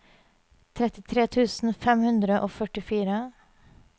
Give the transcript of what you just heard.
trettitre tusen fem hundre og førtifire